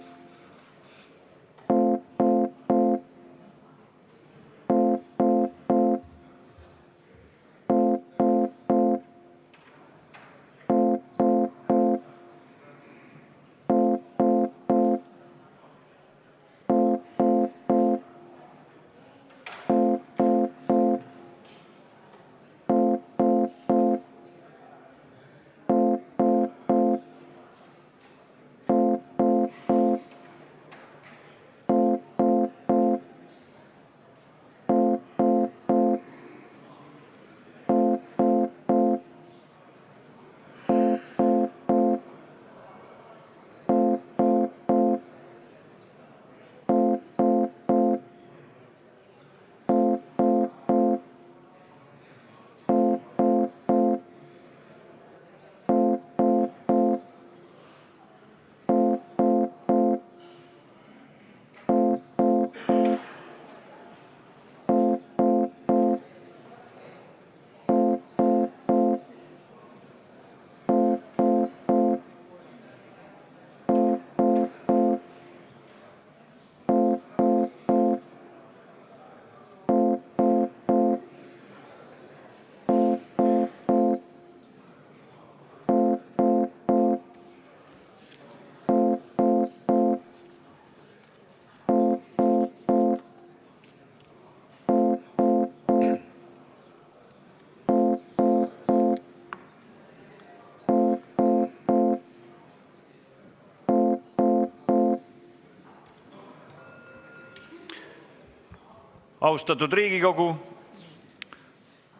Austatud Riigikogu!